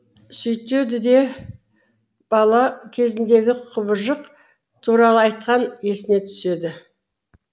сөйтеді де бала кезіндегі құбыжық туралы айтқан есіне түседі